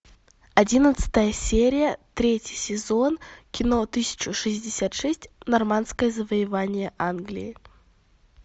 одиннадцатая серия третий сезон кино тысяча шестьдесят шесть нормандское завоевание англии